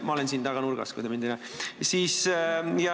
Ma olen siin taga nurgas, kui te mind ei näe.